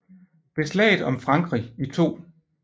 Ved Slaget om Frankrig i 2